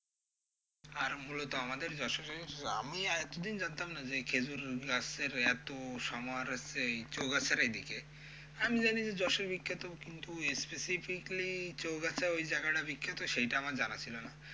আর মূলত আমাদের যশোরের আমি এতো দিন জানতাম না যে খেঁজুর গাছের এতো সমাহার আছে এই চৌগাছার এইদিকে, আমি জানি যে যশোর বিখ্যাত কিন্তু specifically চৌগাছা ওই জায়গাটা বিখ্যাত সেইটা আমার জানা ছিল না।